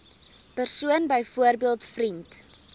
persoon byvoorbeeld vriend